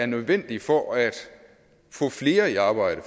nødvendig for at få flere i arbejde